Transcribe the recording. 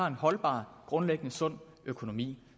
en holdbar grundlæggende sund økonomi